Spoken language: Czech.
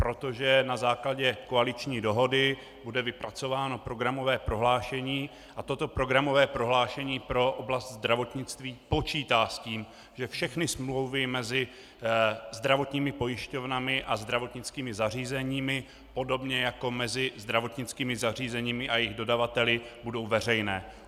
Protože na základě koaliční dohody bude vypracováno programové prohlášení a toto programové prohlášení pro oblast zdravotnictví počítá s tím, že všechny smlouvy mezi zdravotními pojišťovnami a zdravotnickými zařízeními, podobně jako mezi zdravotnickými zařízeními a jejich dodavateli, budou veřejné.